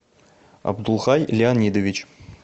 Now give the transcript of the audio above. абдулхай леонидович